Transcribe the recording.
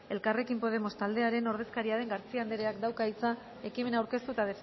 elkarrekin podemos taldearen ordezkaria den garcía andereak dauka hitza ekimena aurkeztu eta